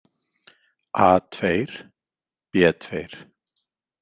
A II, B II.